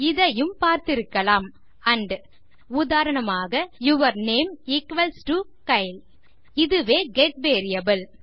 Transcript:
இதையும் பார்திருக்கலாம் ஆண்ட் உதாரணமாக your name equals to Kyle இதுவே கெட் வேரியபிள்